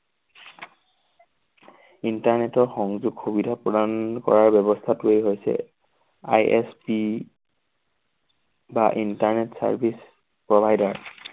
internet ৰ সংযোগ সুবিধা প্ৰদান কৰাৰ ব্যৱস্থাটোৱেই হৈছে আই. এচ. পি. বা internet service provider